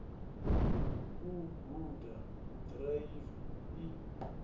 u guda u ḓiraiva i